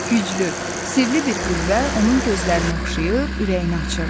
Güclü, sirli bir qüvvə onun gözlərini oxşayır, ürəyini açırdı.